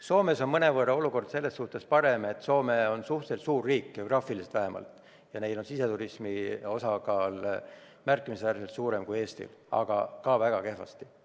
Soomes on olukord mõnevõrra parem, sest Soome on suhteliselt suur riik, vähemalt geograafiliselt, ja neil on siseturismi osakaal märkimisväärselt suurem kui Eestil, aga ka neil on väga kehvasti.